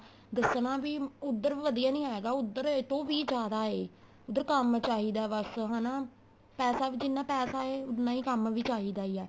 ਦੱਸਣਾ ਬੀ ਉੱਧਰ ਵਧੀਆ ਨੀਂ ਹੈਗਾ ਉੱਧਰ ਇਸ ਤੋਂ ਵੀ ਜਿਆਦਾ ਏ ਉੱਧਰ ਕੰਮ ਚਾਹੀਦਾ ਬੱਸ ਹਨਾ ਪੈਸਾ ਵੀ ਜਿੰਨਾ ਪੈਸਾ ਏ ਉੰਨਾ ਕੰਮ ਵੀ ਚਾਹੀਦਾ ਈ ਏ